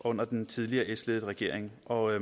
under den tidligere s ledede regering og